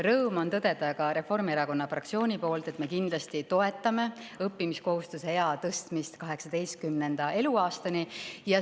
Rõõm on tõdeda ka Reformierakonna fraktsiooni nimel, et me kindlasti toetame õppimiskohustuse ea tõstmist 18. eluaastani.